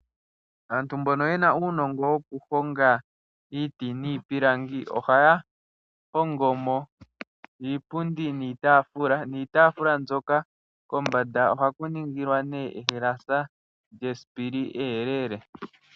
Aantu mbona yena uunongo woku honga iiti niipilangi ohaya hongomo iipundi niitaafula , niitafula mbyoka komanda ohaku ningilwa nee ehalasa lyesipili eyelele.